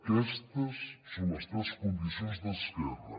aquestes són les tres condicions d’esquerra